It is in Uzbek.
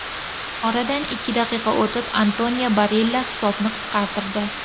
Oradan ikki daqiqa o‘tib, Antonio Barilla hisobni qisqartirdi.